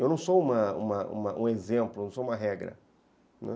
Eu não sou uma uma um exemplo, não sou uma regra, né.